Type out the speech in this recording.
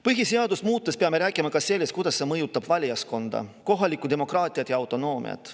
Põhiseadust muutes peame rääkima ka sellest, kuidas see mõjutab valijaskonda, kohalikku demokraatiat ja autonoomiat.